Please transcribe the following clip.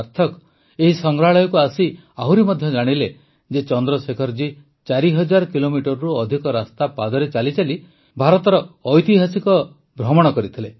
ସାର୍ଥକ ଏହି ସଂଗ୍ରହାଳୟକୁ ଆସି ଆହୁରି ମଧ୍ୟ ଜାଣିଲେ ଯେ ଚନ୍ଦ୍ରଶେଖର ଜୀ ୪ ହଜାର କିଲୋମିଟରରୁ ଅଧିକ ରାସ୍ତା ପାଦରେ ଚାଲିଚାଲି ଐତିହାସିକ ଭାରତର ଭ୍ରମଣ କରିଥିଲେ